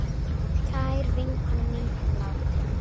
Kær vinkona mín er látin.